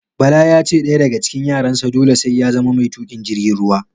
Bala yace ɗaya daga cikin yaran sa dole sai ya zama mai tuƙin jirgin ruwa